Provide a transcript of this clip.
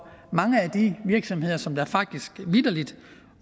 mange af de virksomheder som faktisk vitterlig